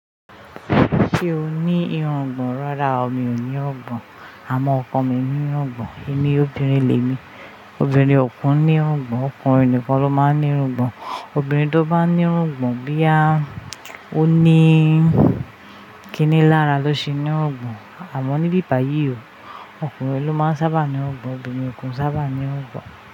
Ṣé o ní irungbọ̀n? Rárá o, mi ò ní irungbọ̀n àmọ́ ọkọ mi ní irungbọ̀n. Èmi obìnrin le mi, obìnrin ò kin ní irungbọ̀n. Ọkùnrin nìkan ló máa ń ní irungbọ̀n. Obìnrin tó bá ní irungbọ̀n, boyá, ó ní kini lára ló ṣe ní irungbọ̀n. Àmọ́ ní ibíbàyìí o, ọkùnrin ló máa ń sábà ní irungbọ̀n, obìnrin ò kin sábà ní irungbọ̀n.